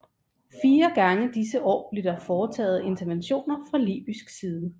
Fire gange disse år blev der foretaget interventioner fra Libysk side